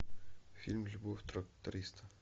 фильм любовь тракториста